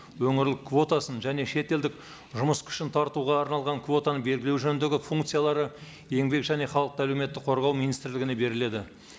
өңірлік квотасын және шетелдік жұмыс күшін тартуға арналған квотаны белгілеу жөніндегі функциялары еңбек және халықты әлеуметтік қорғау министрлігіне беріледі